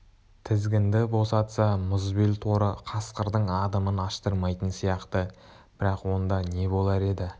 тізгінді босатса мұзбел торы қасқырдың адымын аштырмайтын сияқты бірақ онда не болар еді